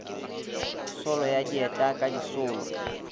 solo a dieta ka disolo